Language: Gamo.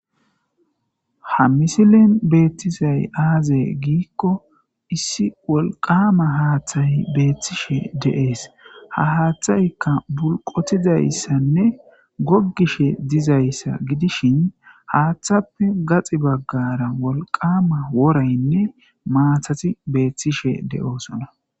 Ha misilen beeththizay aazee giikko issi wolqqaama haaththey beeththishe de7ees; ha haaththaykka bulqothidayssanne goggishe dizayssa gidishin haaththappe gaxi baggaara wolqqaama woraynne maathathi beeththishe de7oosona.